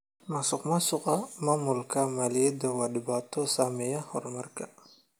Musuqmaasuqa maamulka maaliyadda waa dhibaato saameeya horumarka.